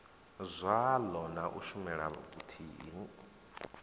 zwaḽo na u shumela vhuthihi